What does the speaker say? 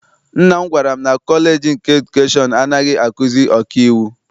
Nna m gwara m na kọleji nke edukeshọn anaghị akuzi ọkaiwu.